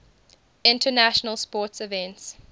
international sports events